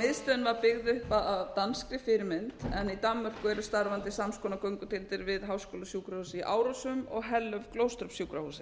miðstöðin var byggð upp að danskri fyrirmynd en í danmörku eru starfandi sams konar göngudeildir við háskólasjúkrahúsið í árósum og hellum sjúkrahúsið